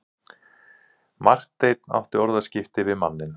Marteinn átti orðaskipti við manninn.